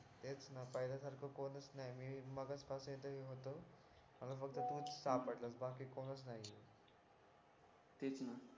तेच न पहिल्यासारखा कोणीच नाही मीच तोच स्टाफ आहे बाकी कोणीच नाही आहे